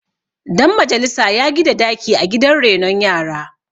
Dan majalisa ya gida daki a gidan renon yara